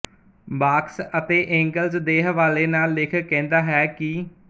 marks ਅਤੇ Engels ਦੇ ਹਵਾਲੇ ਨਾਲ ਲੇਖਕ ਕਹਿੰਦਾ ਹੈ ਕਿ